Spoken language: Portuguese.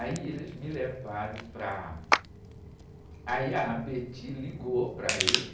Aí eles me levaram para... Aí a ligou para ele.